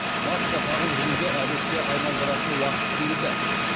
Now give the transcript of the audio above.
маска тағып жүруді әдетке айналдыратын уақыт келді